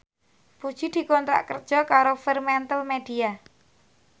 Puji dikontrak kerja karo Fremantlemedia